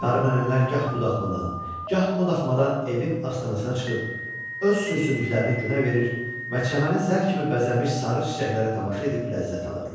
Qarınınnəllər gah o daxmadan, gah bu daxmadan evin astanasına çıxıb öz sür-sümüklərini günə verir və çəməni zər kimi bəzəmiş sarı çiçəklərə tamaşa edib ləzzət alırdılar.